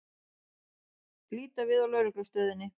Líta við á Lögreglustöðinni.